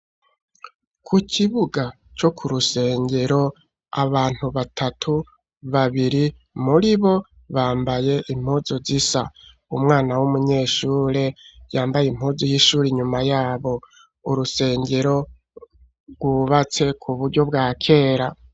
Ku kibuga co ku rusengero abantu batatu babiri muri bo bambaye impuzo zisa umwana w'umunyeshure yambaye impuzu y'ishure inyuma yabo urusengero rwubatse ku buryo bwa kera.